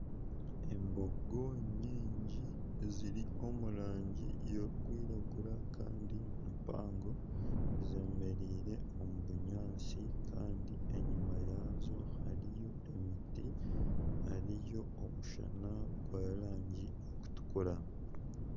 Embogo nyingi eziri omu rangi erikwiragura kandi mpango zemereire omu bunyaatsi kandi enyuma yaazo hariyo emiti, hariyo omushana gw'erangi erikutukura.